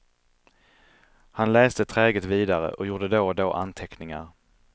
Han läste träget vidare och gjorde då och då anteckningar.